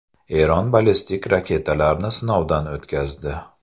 Eron ballistik raketalarni sinovdan o‘tkazdi.